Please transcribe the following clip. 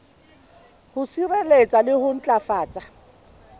ho sireletsa le ho matlafatsa